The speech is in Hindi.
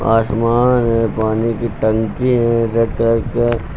आसमान है पानी की टंकी है रेड कलर का--